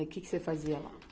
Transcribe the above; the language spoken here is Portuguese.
E que que você fazia lá?